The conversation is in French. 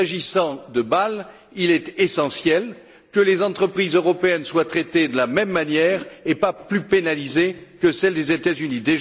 S'agissant de Bâle, il est essentiel que les entreprises européennes soient traitées de la même manière et qu'elles ne soient pas plus pénalisées que celles des États Unis.